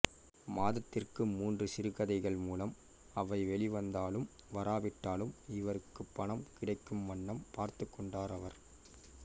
மாதத்திற்கு மூன்று சிறுகதைகள் மூலம் அவை வெளிவந்தாலும் வராவிட்டாலும் இவருக்குப் பணம் கிடைக்கும் வண்ணம் பார்த்துக் கொண்டார் அவர்